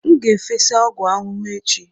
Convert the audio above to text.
M ga-efesa ọgwụ ahụhụ echi.